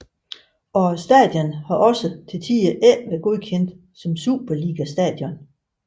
Og stadion har også til tider ikke været godkendt som Superliga stadion